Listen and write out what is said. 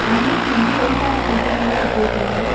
Dumbbells வந்து வெயிட்டான KGs எல்லா வச்சிருக்காங்க.